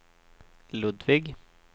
Ludvig